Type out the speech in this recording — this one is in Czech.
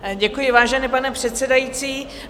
Děkuji, vážený pane předsedající.